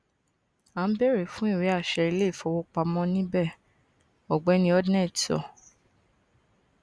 a n beere fun iweaṣẹ ileifowopamọ nibẹ ọgbẹni hodnett sọ